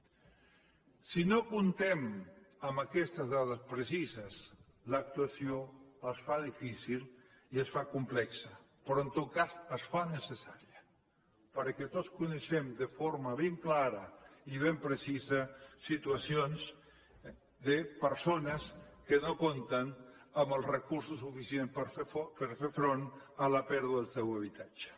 si no comptem amb aquestes dades precises l’actuació es fa difícil i es fa complexa però en tot cas es fa necessària perquè tots coneixem de forma ben clara i ben precisa situacions de persones que no compten amb els recursos suficients per fer front a la pèrdua del seu habitatge